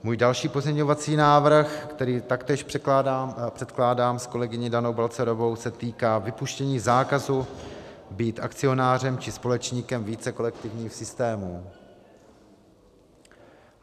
Můj další pozměňovací návrh, který taktéž předkládám s kolegyní Danou Balcarovou, se týká vypuštění zákazu být akcionářem či společníkem více kolektivních systémů.